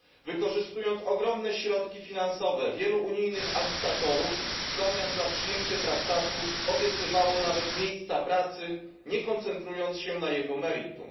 Wykorzystując ogromne środki finansowe wielu unijnych agitatorów w zamian za przyjęcie traktatu obiecywano nawet miejsca pracy, nie koncentrując się na jego meritum.